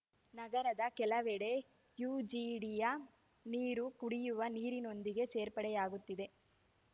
ನಗರದ ಕೆಲವೆಡೆ ಯುಜಿಡಿಯ ನೀರು ಕುಡಿಯುವ ನೀರಿನೊಂದಿಗೆ ಸೇರ್ಪಡೆಯಾಗುತ್ತಿದೆ